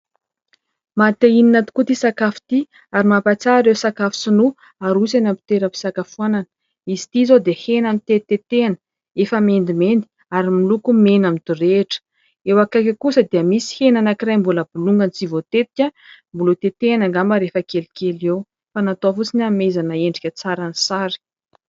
Mahate hihinana tokoa ity sakafo ity ary mampahatsiahy ireo sakafo sinoa aroso eny amin'ny toeram-pisakafoanana. Izy ity izao dia hena notetitetehana, efa mendimendy ary miloko mena midorehitra. Eo akaiky eo kosa dia misy hena anankiray mbola bolongany tsy voatetika, mbola hotetehina angamba rehefa kelikely eo, fa natao fotsiny hanomezana endrika tsara ny sary.